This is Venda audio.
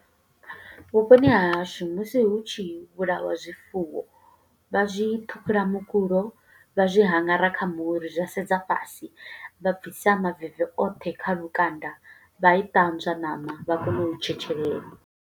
Vhuponi ha hashu, musi hu tshi vhulawa zwifuwo, vha zwi ṱhukhula mukulo, vha zwi haṅgara kha muri, zwa sedza fhasi. Vha bvisa maveve oṱhe kha lukanda, vha i ṱanzwa ṋama, vha kone u tshetshelela.